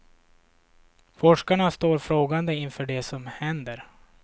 Forskarna står frågande inför det som händer.